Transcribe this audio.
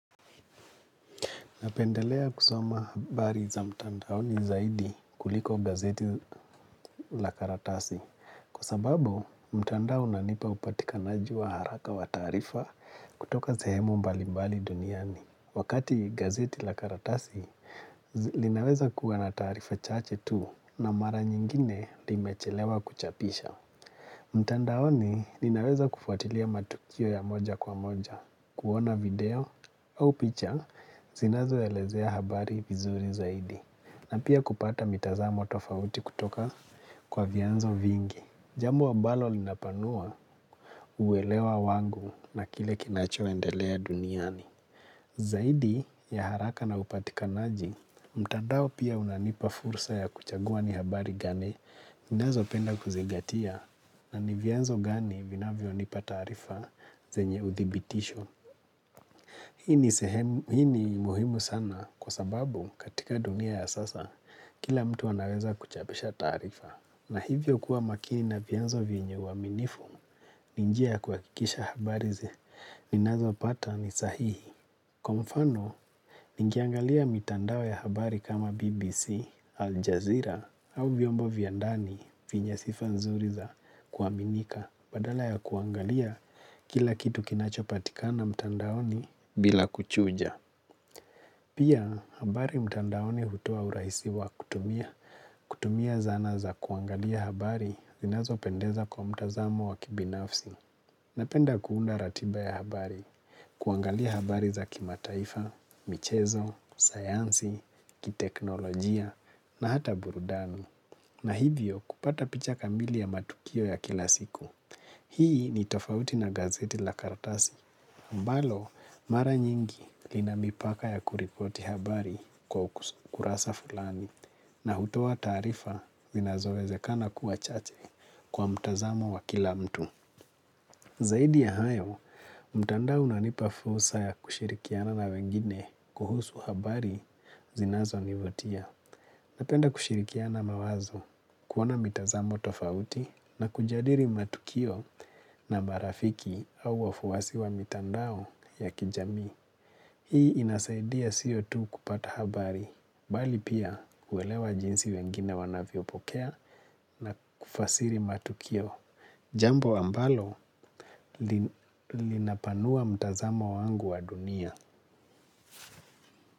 Napendelea kusoma habari za mtandaoni zaidi, kuliko gazeti la karatasi. Kwa sababu, mtandao unanipa upatikanaji wa haraka wa taarifa, kutoka zehemu mbali mbali duniani. Wakati gazeti la karatasi, linaweza kuwa na taarifa chache tu na mara nyingine, limechelewa kuchapisha. Mtandaoni ninaweza kufuatilia matukio ya moja kwa moja, kuona video au picha zinazoelezea habari vizuri zaidi, na pia kupata mitazamo tofauti kutoka kwa vianzo vingi. Jambo ambalo linapanua, uelewa wangu na kile kinachoendelea duniani. Zaidi ya haraka na upatikanaji, mtadao pia unanipa fursa ya kuchagua ni habari gani ninazopenda kuzingatia na nivyanzo gani vinayonipa taarifa zenye uthibitisho. Hii ni muhimu sana kwa sababu, katika dunia ya sasa, kila mtu anaweza kuchapisha taarifa. Na hivyo kua makini na vianzo vyenye uaminifu. Ni njia ya kuhakikisha habari ninazo pata ni sahihi. Kwa mfano, ningiangalia mitandao ya habari kama BBC, Al Jazeera au viombo vya ndani, vinya sifa nzuri za kuaminika badala ya kuangalia kila kitu kinachopatikana mtandaoni, bila kuchuja. Pia, habari mtandaoni hutoa urahisi wa kutumia. Kutumia zana za kuangalia habari zinazopendeza kwa mtazamo wa kibinafsi. Napenda kuunda ratiba ya habari, kuangalia habari za kimataifa, michezo, sayansi, kiteknolojia na hata burudani. Na hivyo, kupata picha kamili ya matukio ya kila siku. Hii ni tofauti na gazeti la kartasi. Mbalo, mara nyingi, linamipaka ya kuripoti habari kwa kurasa fulani na hutoa taarifa zinazowezekana kuwa chache, kwa mtazamo wa kila mtu. Zaidi ya hayo, mtandao unanipa fursa ya kushirikiana na wengine, kuhusu habari zinazo nivutia. Napenda kushirikiana mawazo, kuona mitazamo tofauti na kujadiri matukio na marafiki au wafuwasi wa mitandao ya kijamii. Hii inasaidia sio tu kupata habari, bali pia kuelewa jinsi wengine wanavyopokea na kufasiri matukio. Jambo ambalo, linapanua mtazamo wangu wa dunia.